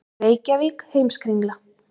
Reykjavík: Heimskringla.